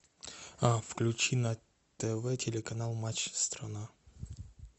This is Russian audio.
включи на тв телеканал матч страна